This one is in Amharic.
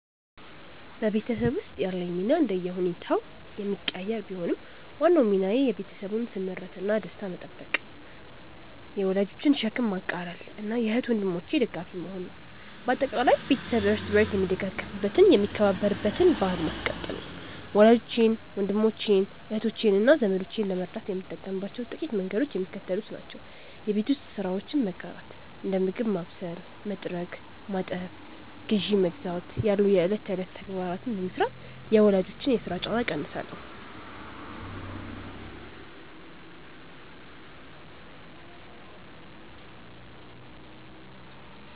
በቤተሰብ ውስጥ ያለኝ ሚና እንደየሁኔታው የሚቀያየር ቢሆንም፣ ዋናው ሚናዬ የቤተሰቡን ስምረትና ደስታ መጠበቅ፣ የወላጆችን ሸክም ማቃለልና የእህት ወንድሞቼ ደጋፊ መሆን ነው። በአጠቃላይ፣ ቤተሰብ እርስ በርስ የሚደጋገፍበትና የሚከባበርበትን ባሕል ማስቀጠል ነው። ወላጆቼን፣ ወንድሞቼን፣ እህቶቼንና ዘመዶቼን ለመርዳት የምጠቀምባቸው ጥቂት መንገዶች የሚከተሉት ናቸው የቤት ውስጥ ስራዎችን መጋራት፦ እንደ ምግብ ማብሰል፣ መጥረግ፣ ማጠብና ግዢ መግዛት ያሉ የዕለት ተዕለት ተግባራትን በመሥራት የወላጆችን የሥራ ጫና እቀንሳለሁ